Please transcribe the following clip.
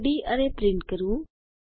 2ડી અરે પ્રિન્ટ કરવું